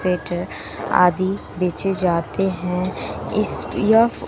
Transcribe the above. आदि बेचे जाते है इस यह--